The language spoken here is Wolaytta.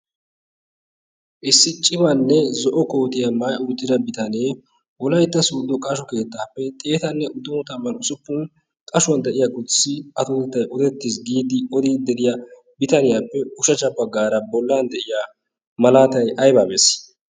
issi cibaanne zo'o kootiya maa uttida bitanee wolaitta suuddo qashu keettaappe xeetanne uddou tamman usuppun qashuwan de'iya kusssi atotettai odettiis giidi odii de'iya bitaniyaappe ushahcha baggaara bollan de'ya malaatai aibaamees?